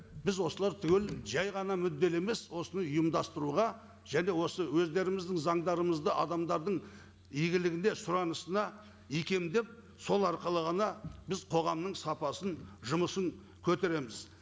біз осылар түгел жай ғана мүдделі емес осыны ұйымдастыруға және осы өздеріміздің заңдарымызды адамдардың игілігіне сұранысына икемдеп сол арқылы ғана біз қоғамның сапасын жұмысын көтереміз